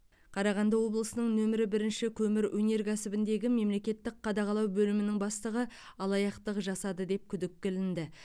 қарағанды облысының нөмірі бірінші көмір өнеркәсібіндегі мемлекеттік қадағалау бөлімінің бастығы алаяқтық жасады деп күдікке ілінді